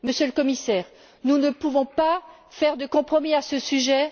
Monsieur le Commissaire, nous ne pouvons pas faire de compromis à ce sujet.